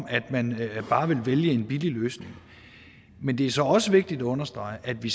at man bare vil vælge en billig løsning men det er så også vigtigt at understrege at vi